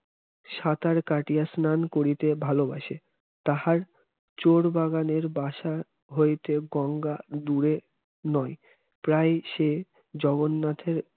সাঁতার কাটিয়া স্নান করিতে ভালোবাসে তাহার চোরবাগানের বাসা হইতে গঙ্গা দূরে নয় প্রায়ই সে জগন্নাথে